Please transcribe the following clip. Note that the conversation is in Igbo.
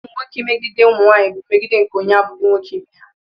Ụmụ nwoke imegide ụmụ nwanyị bú mmegide nke onye abụghị nwoke ibe ha